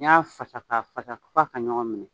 N'i y'a fasa ka fasa f'a ka ɲɔgɔn minɛ.